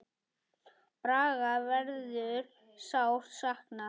Braga verður sárt saknað.